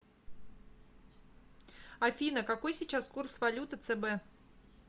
афина какой сейчас курс валюты цб